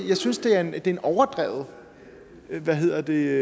jeg synes det er en overdreven hvad hedder det